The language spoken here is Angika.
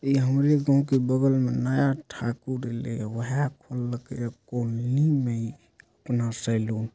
ये हमरे गांव के बगल में नया ठाकुर सैलून ।